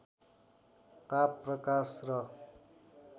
ताप प्रकाश र